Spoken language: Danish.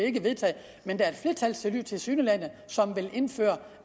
ikke vedtaget men der er tilsyneladende et som vil indføre